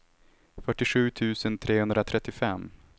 fyrtiosju tusen trehundratrettiofem